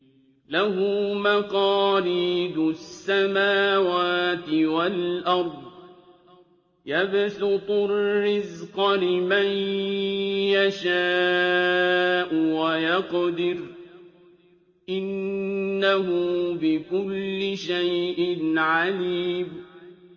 لَهُ مَقَالِيدُ السَّمَاوَاتِ وَالْأَرْضِ ۖ يَبْسُطُ الرِّزْقَ لِمَن يَشَاءُ وَيَقْدِرُ ۚ إِنَّهُ بِكُلِّ شَيْءٍ عَلِيمٌ